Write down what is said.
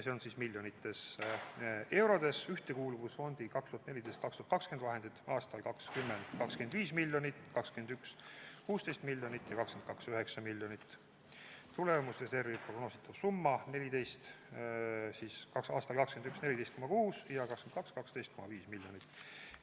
Ühtekuuluvusfondi 2014–2020 vahendid aastal 2020 – 25 miljonit, 2021 – 16 miljonit ja 2022 – 9 miljonit, tulemusreservi prognoositav summa aastal 2021 – 14,6 ja 2022 – 12,5 miljonit eurot.